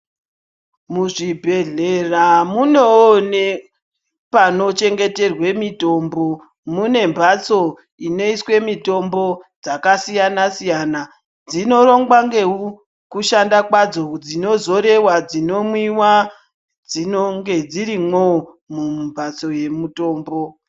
Muzvibhohlera munewo panochengeterwa mitombo. Mune mbatso inoiswe mitombo dzakasiyana. Dzinorongwa ngekushanda kwadzo, dzinozorewa, dzinomwiwa dzinonga dzirimwo mumbatso yemutombo